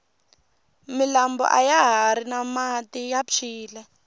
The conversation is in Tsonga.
milambo ayahari na mati ya phyile